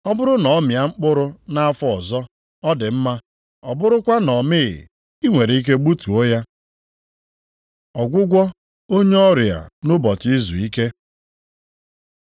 Ọ bụrụ na ọ mịa mkpụrụ nʼafọ ọzọ, ọ dị mma, ọ bụrụkwa na ọ mịghị, i nwere ike gbutuo ya. ’” Ọgwụgwọ onye ọrịa nʼụbọchị izuike